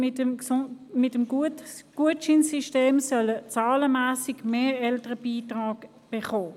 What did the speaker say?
Mit dem Gutscheinsystem sollen zahlenmässig mehr Eltern einen Beitrag erhalten.